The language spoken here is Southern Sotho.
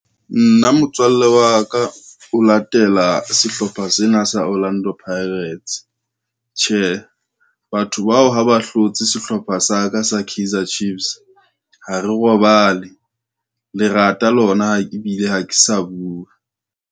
Nna motswalle wa ka, o latela sehlopha sena sa Orlando Pirates. Tjhe, batho bao ha ba hlotse sehlopha sa ka sa Kaizer Chiefs, ha re robale lerata le lona ebile ha ke sa bua.